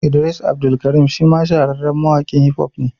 Idris Abdulkarim shi ma shahararren mawaƙin Hif hof ne